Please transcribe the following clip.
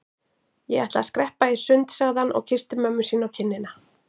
Ég ætla að skreppa í sund sagði hann og kyssti mömmu sína á kinnina.